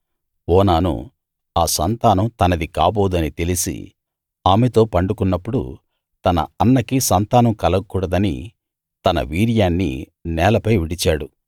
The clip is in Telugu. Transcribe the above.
ఓనాను ఆ సంతానం తనది కాబోదని తెలిసి ఆమెతో పండుకున్నప్పుడు తన అన్నకి సంతానం కలగకూడదని తన వీర్యాన్ని నేలపై విడిచాడు